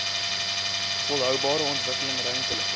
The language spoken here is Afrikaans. volhoubare ontwikkeling ruimtelike